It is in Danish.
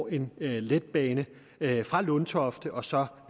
en letbane fra lundtofte og så